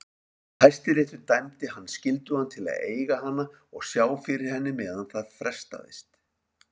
Hæstiréttur dæmdi hann skyldugan til að eiga hana og sjá fyrir henni meðan það frestaðist.